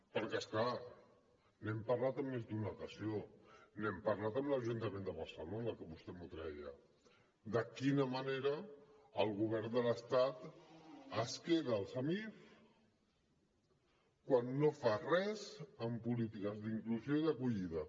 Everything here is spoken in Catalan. perquè és clar n’hem parlat en més d’una ocasió n’hem parlat amb l’ajuntament de barcelona que vostè m’ho treia de quina manera el govern de l’estat es queda els amif quan no fa res en polítiques d’inclusió i d’acollida